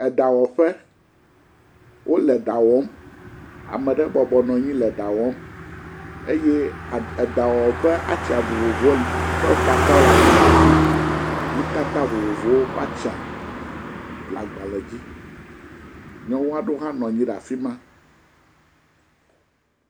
Eɖawɔƒe, wole ɖa wɔm, ame ɖe bɔbɔ nɔ anyi le ɖa wɔm, eye eɖawɔwɔ ƒe atsia vovovowo ƒe atsia le agbalẽ dzi, nutata vovovowo ƒe atsia le agbalẽ dzi, nyɔnu aɖewo hã nɔ anyi le afi ma.